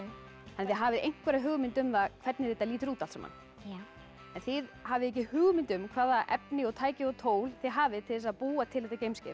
þið hafið einhverja einhverja hugmynd um það hvernig þetta lítur út allt saman já en þið hafið ekki hugmynd um hvaða efni tæki og tól þið hafið til að búa til þetta geimskip